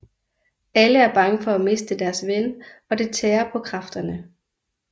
Alle er bange for at miste deres ven og det tærer på kræfterne